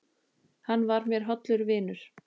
Hann var mér hollur vinur.